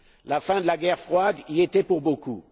La fin de la guerre froide y a été pour beaucoup.